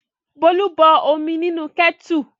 Bólú bọ omi nínú kẹ́tù.